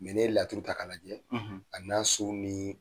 n'i ye laturu ta ka lajɛ a n'a so ni